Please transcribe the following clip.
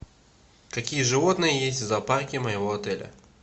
какие животные есть в зоопарке моего отеля